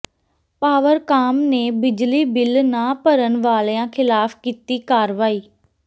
ਪਾਵਰਕਾਮ ਨੇ ਬਿਜਲੀ ਬਿੱਲ ਨਾ ਭਰਨ ਵਾਲਿਆਂ ਖ਼ਿਲਾਫ਼ ਕੀਤੀ ਕਾਰਵਾਈ